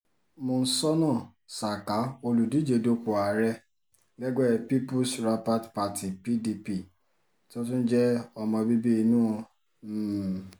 monsónà saka olùdíje dupò ààrẹ lẹ́gbẹ́ peoples rapat party pdp tó tún jẹ́ ọmọ bíbí inú m